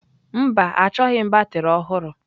Mba, achọghị m batrị ọhụrụ.